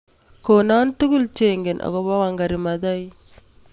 Konon tugul chengen ago po Wangari Maathai